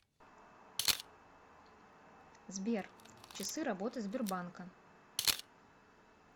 сбер часы работы сбербанка